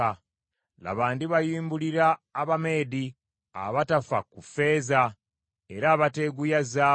Laba, ndibayimbulira Abameedi, abatafa ku ffeeza era abateeguya zaabu.